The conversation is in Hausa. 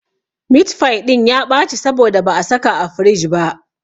Mitfai ɗin ya ɓaci saboda ba a saka a firij ba.